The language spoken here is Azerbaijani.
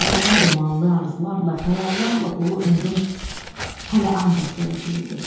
Qəribə dumanlı arzularla, xəyallarla dolu ömrüm hələ ancaq gələcək idi.